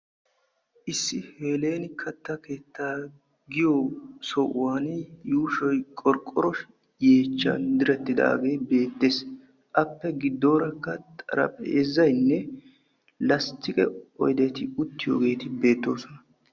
Issi Heeleeni kattaa keettaa giyo sohuwan yuushoy qorqqoro yeechchan direttidaagee beettees. Appe giddoorakka xarphpheezaynne lasttkke oydeti uttiyogeeti beettoosona.